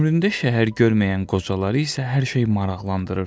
Ömründə şəhər görməyən qocaları isə hər şey maraqlandırırdı.